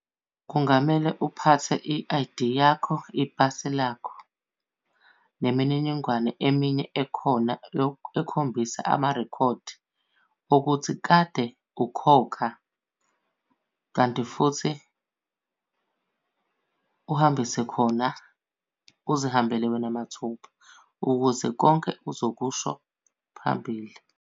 Kungamele uphathe i-I_D yakho ipasi lakho nemininingwane eminye ekhona yokukhombisa amarekhodi okuthi kade ukhokha, kanti futhi uhambise khona. Uzihambele wena mathupha ukuze konke uzokusho phambili.